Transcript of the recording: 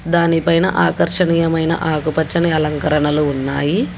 దానిపైన ఆకర్షణీయమైన ఆకుపచ్చని అలంకరణలు ఉన్నాయి.